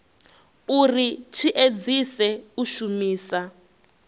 uri tshi edzise u shumisa